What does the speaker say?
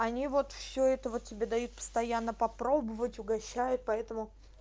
они вот все этого тебе дают постоянно попробовать угощают поэтому